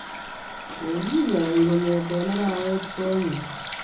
Kokinyoi kongete arawet konyei